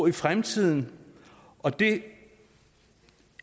i fremtiden og det